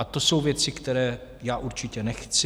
A to jsou věci, které já určitě nechci.